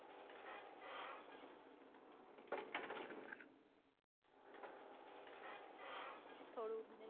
થોડુંક મને.